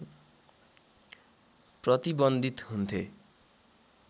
प्रतिबन्धित हुन्थे